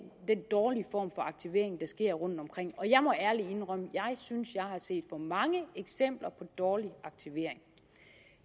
den dårlige form for aktivering der sker rundtomkring og jeg må ærligt indrømme at jeg synes jeg har set for mange eksempler på dårlig aktivering